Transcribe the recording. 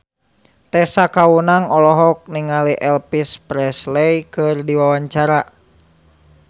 Tessa Kaunang olohok ningali Elvis Presley keur diwawancara